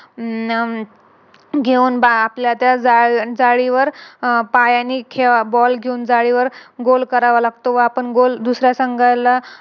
आह घेऊन आपल्याला जाळीवर पायानी Ball घेऊन जाळीवर Goal करावा लागतो व आपण Goal दुसऱ्या संघाला